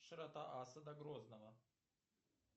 широта асада грозного